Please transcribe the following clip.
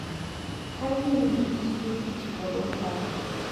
Ka gin gi gige tich kod okape,